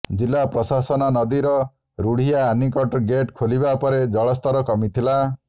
ଜିଲ୍ଲା ପ୍ରଶାସନ ନଦୀର ରୁଢ଼ିଆ ଆନିକଟ ଗେଟ ଖୋଲିବା ପରେ ଜଳସ୍ତର କମିଥିଲା